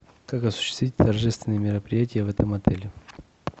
как осуществить торжественные мероприятия в этом отеле